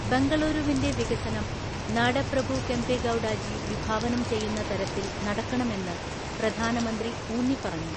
ബെംഗളൂരുവിന്റെ വികസനം നാടപ്രഭു കെംപഗൗഡ ജി വിഭാവനം ചെയ്യുന്ന തരത്തിൽ നടക്കണമെന്ന് പ്രധാനമന്ത്രി ഊന്നിപ്പറഞ്ഞു.